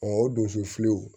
o donso filiw